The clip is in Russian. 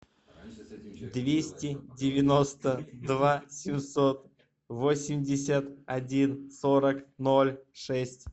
двести девяносто два семьсот восемьдесят один сорок ноль шесть